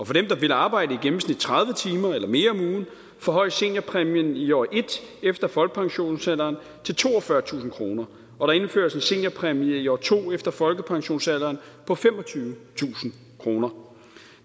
for dem der vil arbejde i gennemsnit tredive timer eller mere om ugen forhøjes seniorpræmien i år ét efter folkepensionsalderen til toogfyrretusind kroner og der indføres en seniorpræmie i år to efter folkepensionsalderen på femogtyvetusind kroner